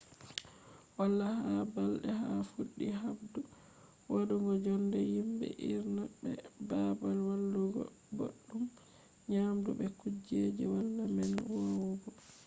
wala ba balde a fuddi habdu wadugo jonde himbe hirna be babal walugo boddum nyamdu be kujeji valla man vowugo